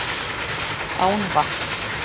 Án vatns.